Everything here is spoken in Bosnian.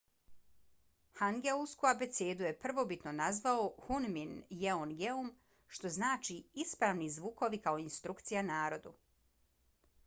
hangeulsku abecedu je prvobitno nazvao hunmin jeongeum što znači ispravni zvukovi kao instrukcija narodu